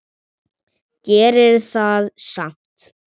Gerir það samt.